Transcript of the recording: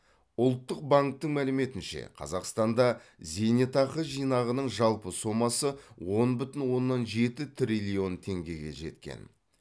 ұлттық банктің мәліметінше қазақстанда зейнетақы жинағының жалпы сомасы он бүтін оннан жеті триллион теңгеге жеткен